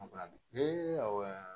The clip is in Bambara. awɔ